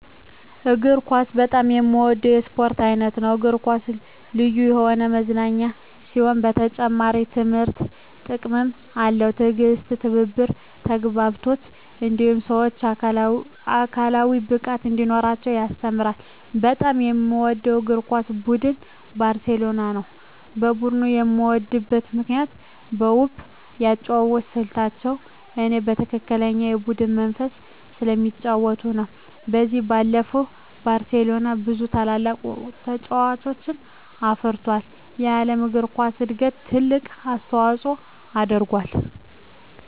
እግር ኳስ በጣም የምወደው የስፖርት አይነት ነው። እግር ኳስ ልዩ የሆነ መዝናኛ ሲሆን በተጨማሪም ትምህርታዊ ጥቅምም አለው። ትዕግስትን፣ ትብብርን፣ ተግባቦትን እንዲሁም ሰወች አካላዊ ብቃት እንዲኖራቸው ያስተምራል። በጣም የምወደው የእግር ኳስ ቡድን ባርሴሎናን ነው። ቡድኑን የምወድበት ምክንያት በውብ የአጨዋወት ስልታቸው እኔ በትክክለኛ የቡድን መንፈስ ስለሚጫወቱ ነው። ከዚህ ባለፈም ባርሴሎና ብዙ ታላላቅ ተጫዋቾችን አፍርቶ ለዓለም እግር ኳስ እድገት ትልቅ አስተዋፅኦ አድርጎአል።